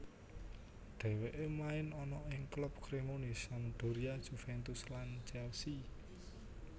Dheweke main ana ing klub Cremonese Sampdoria Juventus lan Chelsea